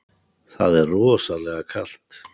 Það er rosalega kalt.